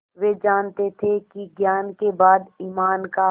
वे जानते थे कि ज्ञान के बाद ईमान का